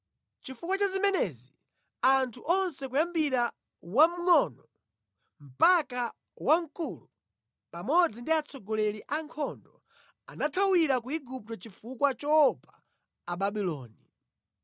Chifukwa cha zimenezi, anthu onse kuyambira wamngʼono mpaka wamkulu, pamodzi ndi atsogoleri a ankhondo anathawira ku Igupto chifukwa choopa Ababuloni.